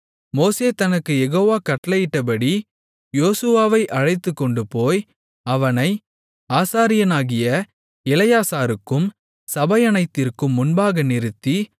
மோசே தனக்குக் யெகோவா கட்டளையிட்டபடி யோசுவாவை அழைத்துக்கொண்டுபோய் அவனை ஆசாரியனாகிய எலெயாசாருக்கும் சபையனைத்திற்கும் முன்பாக நிறுத்தி